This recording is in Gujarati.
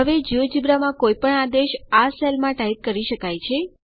હવે જિયોજેબ્રા માં કોઈપણ આદેશ અહીં આ સેલમાં ટાઈપ કરી શકાય છે